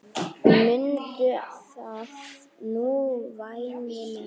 Mundu það nú væni minn.